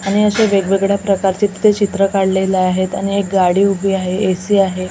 आणि अशे वेगवेगळ्या प्रकारचे तिथे चित्र काढलेले आहेत आणि एक गाडी उभी आहे ए_सी आहे.